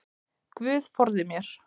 Guð forði mér.